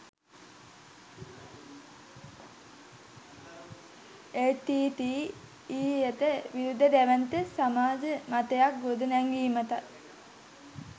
එල්.ටී.ටී.ඊ.යට විරුද්ධ දැවැන්ත සමාජ මතයක් ගොඩනැංවීමටත්